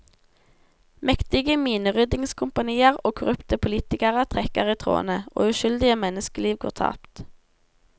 Mektige mineryddingskompanier og korrupte politikere trekker i trådene, og uskyldige menneskeliv går tapt.